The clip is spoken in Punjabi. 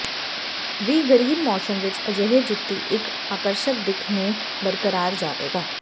ਵੀ ਗਰੀਬ ਮੌਸਮ ਵਿਚ ਅਜਿਹੇ ਜੁੱਤੀ ਇੱਕ ਆਕਰਸ਼ਕ ਦਿੱਖ ਨੂੰ ਬਰਕਰਾਰ ਜਾਵੇਗਾ